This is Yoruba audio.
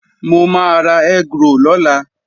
Mo máa ra egg roll lọ́la